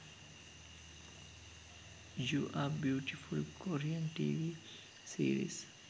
you are beautiful korean tv series